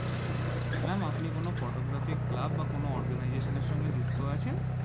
Twenty-seven ma'am আপনি কোন photographic club বা organisation এর সঙ্গে যুক্ত আছে?